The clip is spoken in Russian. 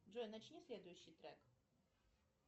джой начни следующий трек